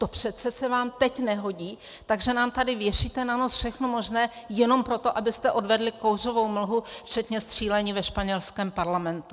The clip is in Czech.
To přece se vám teď nehodí, takže nám tady věšíte na nos všechno možné jenom proto, abyste odvedli kouřovou mlhu včetně střílení ve španělské parlamentu.